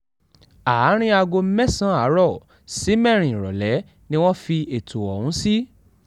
àárín aago mẹ́sàn àárọ̀ sí mẹ́rin ìrọ̀lẹ́ ni wọ́n fi ẹ̀tọ́ ọ̀hún sí